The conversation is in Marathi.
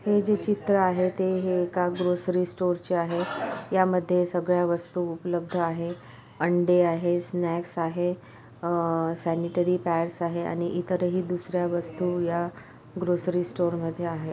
हे जे चित्र आहे. ते हे एका ग्रोसरी स्टोरचे आहे. या मध्ये सगळ्या वस्तु उपलबद्ध आहे. अंडे आहे. स्नॅक्स आहे. अ सॅनिटरी पैड्स आहे आणि इतरही दुसर्‍या वस्तु या ग्रोसरी स्टोर मध्ये आहे.